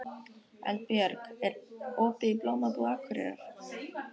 Eldbjörg, er opið í Blómabúð Akureyrar?